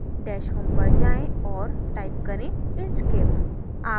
dash home पर जाएँ औऱ type करें inkscape